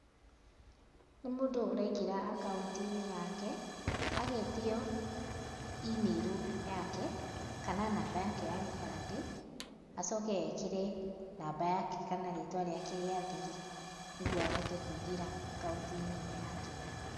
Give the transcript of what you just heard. Nĩ mũndũ ũraingĩra akaunti-inĩ yake, agetio imĩrũ yake kana namba yake ya gĩbandĩ, acoke ekĩre namba yake kana rĩtwa rĩake rĩa thiri, nĩguo ahote kũingĩra akaunti-inĩ ĩyo yake.